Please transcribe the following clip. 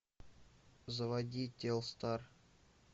заводи телстар